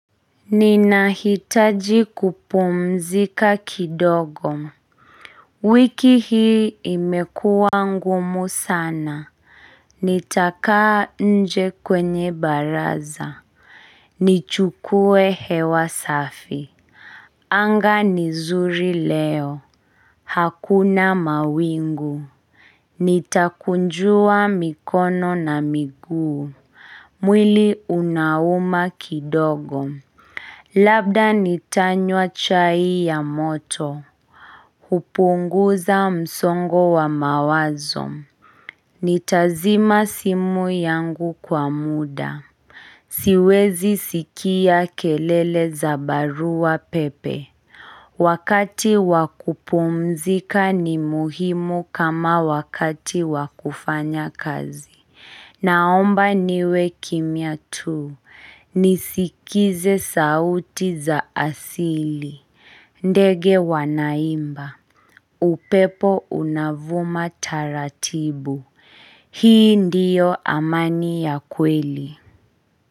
Ninahitaji kupumzika kidogo wiki hii imekua ngumu sana Nitakaa nje kwenye baraza nichukue hewa safi Anga nizuri leo Hakuna mawingu Nitakunjua mikono na miguu mwili unauma kidogo Labda nitanywa chai ya moto, hupunguza msongo wa mawazo, nitazima simu yangu kwa muda, siwezi sikia kelele za barua pepe. Wakati wakupumzika ni muhimu kama wakati wakufanya kazi. Naomba niwe kimya tu. Nisikize sauti za asili. Ndege wanaimba. Upepo unavuma taratibu. Hii ndiyo amani ya kweli.